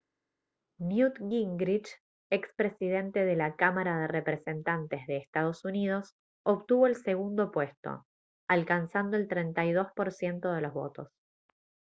newt gingrich ex presidente de la cámara de representantes de ee. uu. obtuvo el segundo puesto alcanzando el 32 % de los votos